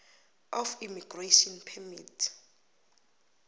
of immigration permit